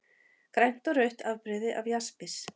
Grænt og rautt afbrigði af jaspis.